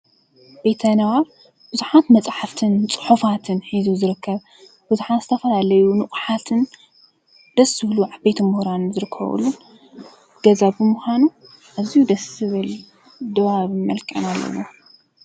ቤተ-ንባብ ብዙሓት መፅሓፍትን ፅሑፋትን ሒዙ ዝርከብ ፤ብዙሓት ዝተፈላለዩ ንቁሓትን ደስ ዝብሉ ዓበይቲ ሙሁራንን ዝርከቡሉ ገዛ ብምዃኑ አዝዩ ደስ ዝብል ድባብ አመልኪዒና አለና።